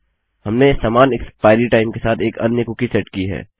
हमने समान expiry time के साथ एक अन्य कुकी सेट की है